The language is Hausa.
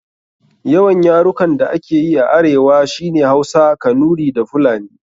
Yawan yarukan da ake yi a arewa shi ne Hausa, Kanuri da Fulani.